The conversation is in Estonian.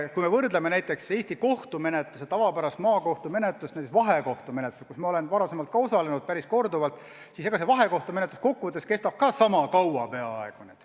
Kui me võrdleme näiteks Eesti kohtumenetluses tavapärast maakohtu menetlust vahekohtumenetlusega, milles ma olen varem päris korduvalt osalenud, siis vahekohtumenetlus kestab ka peaaegu sama kaua.